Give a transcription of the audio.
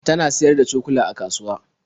Ta na siyar da cokula a kasuwa.